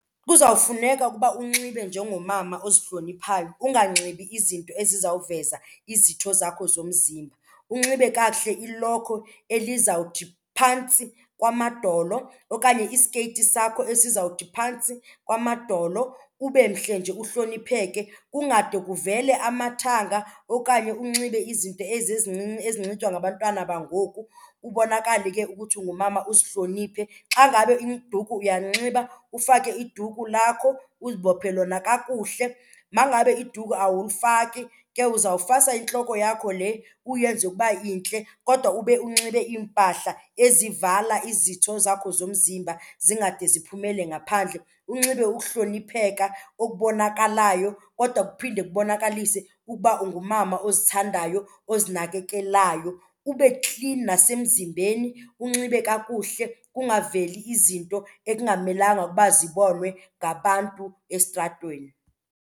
Kuzawufuneka ukuba unxibe njengomama ozihloniphayo, unganxibi izinto ezizawuveza izitho zakho zomzimba. Unxibe kakuhle ilokhwe elizawuthi phantsi kwamadolo okanye isikeyiti sakho esizawuthi phantsi kwamadolo ube mhle nje uhlonipheke. Kungade kuvele amathanga okanye unxibe izinto ezi ezincinci ezinxitywa ngabantwana bangoku, kubonakale ke ukuthi ungumama usihloniphe. Xa ngabe iduku uyalinxiba ufake iduku lakho uzibophe lona kakuhle. Ma ngabe iduku awulifaki ke uzawufasa intloko yakho le uyenze ukuba intle kodwa ube unxibe iimpahla ezivala izitho zakho zomzimba zingade ziphumele ngaphandle. Unxibe ukuhlonipheka okubonakalayo kodwa kuphinde kubonakalise ukuba ungumama ozithandayo ozinakekelayo. Ube klini nasemzimbeni, unxibe kakuhle kungaveli izinto ekungamelanga ukuba zibonwe ngabantu estratweni.